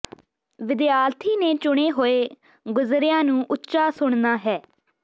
ਵਿਦਿਆਰਥੀ ਨੇ ਚੁਣੇ ਹੋਏ ਗੁਜ਼ਰਿਆਂ ਨੂੰ ਉੱਚਾ ਸੁਣਨਾ ਹੈ